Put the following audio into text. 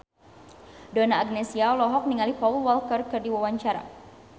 Donna Agnesia olohok ningali Paul Walker keur diwawancara